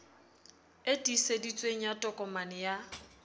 e tiiseditsweng ya tokomane ya